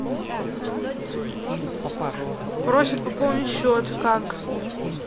просят пополнить счет как